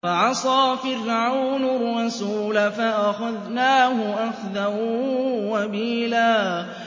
فَعَصَىٰ فِرْعَوْنُ الرَّسُولَ فَأَخَذْنَاهُ أَخْذًا وَبِيلًا